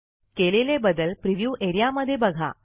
केलेले बदल प्रिव्ह्यू एरियामध्ये बघा